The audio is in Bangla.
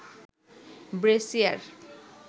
ব্রেসিয়ার